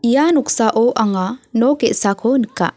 ia noksao anga nok ge·sako nika.